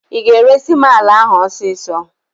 Ị ga-eresi m ala ahụ ọsịsọ!